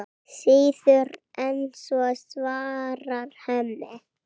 Síður en svo, svarar Hemmi.